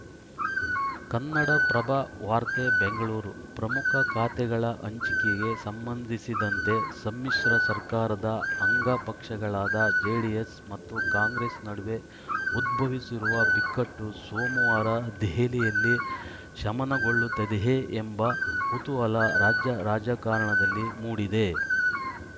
ಕನ್ನಡಪ್ರಭ ವಾರ್ತೆ ಬೆಂಗಳೂರು ಪ್ರಮುಖ ಖಾತೆಗಳ ಹಂಚಿಕೆಗೆ ಸಂಬಂಧಿಸಿದಂತೆ ಸಮ್ಮಿಶ್ರ ಸರ್ಕಾರದ ಅಂಗ ಪಕ್ಷಗಳಾದ ಜೆಡಿಎಸ್‌ ಮತ್ತು ಕಾಂಗ್ರೆಸ್‌ ನಡುವೆ ಉದ್ಭವಿಸಿರುವ ಬಿಕ್ಕಟ್ಟು ಸೋಮವಾರ ದೆಹಲಿಯಲ್ಲಿ ಶಮನಗೊಳ್ಳುತ್ತದೆಹೆ ಎಂಬ ಕುತೂಹಲ ರಾಜ್ಯ ರಾಜಕಾರಣದಲ್ಲಿ ಮೂಡಿದೆ